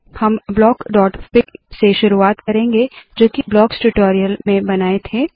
हम blockफिग से शुरुआत करेंगे जोकी ब्लॉक्स ट्यूटोरियल में बनाए थे